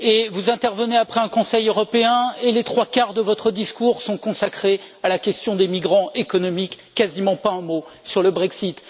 Vous intervenez après un Conseil européen, et les trois quarts de votre discours sont consacrés à la question des migrants économiques quasiment pas un mot sur le Brexit.